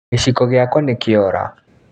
Gĩciko gĩakwa nĩkĩora